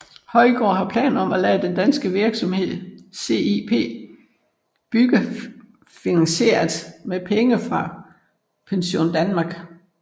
Højgaard havde planer om at lade den danske virksomhed CIP bygge finansieret med penge fra PensionDanmark